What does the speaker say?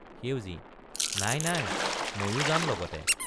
সেউজী—নাই—নাই—মইয়ো যাম লগতে।